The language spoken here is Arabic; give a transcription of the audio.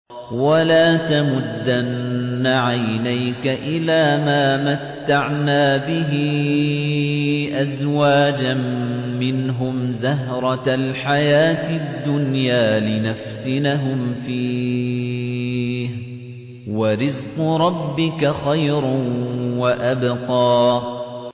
وَلَا تَمُدَّنَّ عَيْنَيْكَ إِلَىٰ مَا مَتَّعْنَا بِهِ أَزْوَاجًا مِّنْهُمْ زَهْرَةَ الْحَيَاةِ الدُّنْيَا لِنَفْتِنَهُمْ فِيهِ ۚ وَرِزْقُ رَبِّكَ خَيْرٌ وَأَبْقَىٰ